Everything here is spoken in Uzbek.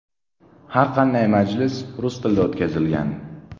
Har qanday majlis rus tilida o‘tkazilgan.